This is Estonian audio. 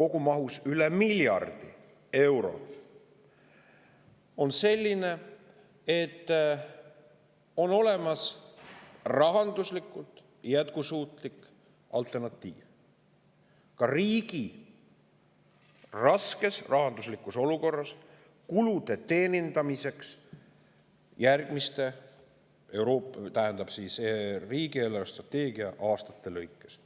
kogumahus üle miljardi euro on selline: on olemas rahanduslikult jätkusuutlik alternatiiv riigi raskes rahanduslikus olukorras kulude teenindamiseks järgmise riigi eelarvestrateegia aastate lõikes.